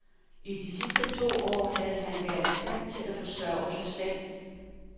I de sidste to år havde han været i stand til at forsørge sig selv.